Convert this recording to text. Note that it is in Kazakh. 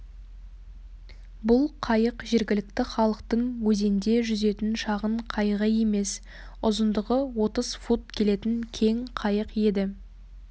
бұл қайық жергілікті халықтың өзенде жүзетін шағын қайығы емес ұзындығы отыз фут келетін кең қайық еді